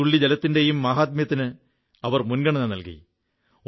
ഓരോരോ തുള്ളി ജലത്തിന്റെയും മാഹാത്മ്യത്തിന് അവർ മുൻഗണന നല്കി